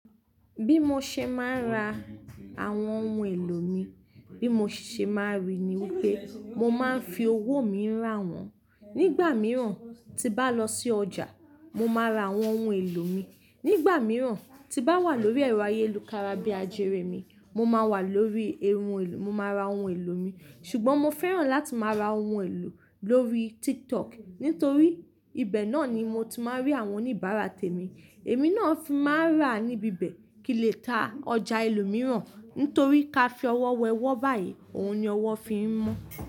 Bí mo ṣe máa ń rà àwọn ohun èlò mi, bí mo ṣe máa rí i ni wípé mo máa ń fi owó mi rà wọ́n. Nígbà mìíràn tí n bá lọ sí ọjà mo máa ra àwọn ohun èlò mi. Nígbà mìíràn tí n bá wà lórí ẹ̀rọ ayélukára bíi ajere mi, mo máa wà lórí, mo máa ra ohun èlò mi. Ṣùgbọ́n mo fẹ́ràn láti máa ra ohun èlò lórí TikTok nítorí ibẹ̀ náà ni mo ti máa ń rí àwọn oníbàárà tèmi. Èmi náà fi má ń rà ní ibi bẹ̀ kí n lè ta ọjà ẹlòmíràn, torí kí a fi ọwọ́ wẹ ọwọ́ báyìí, òun ni ọwọ́ fi ń mọ́.